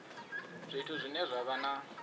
zwithu zwine zwa vha na